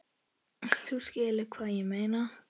Þú skilur hvað ég meina.